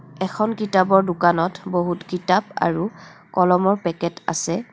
এখন কিতাপৰ দোকানত বহুত কিতাপ আৰু কলমৰ পেকেট আছে.